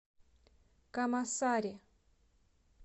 камасари